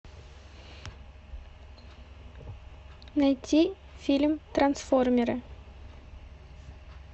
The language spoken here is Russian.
найти фильм трансформеры